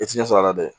I ti ɲɛ sɔrɔ a la dɛ